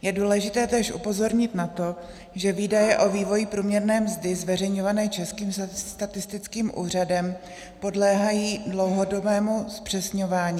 Je důležité též upozornit na to, že výdaje o vývoji průměrné mzdy zveřejňované Českým statistickým úřadem podléhají dlouhodobému zpřesňování.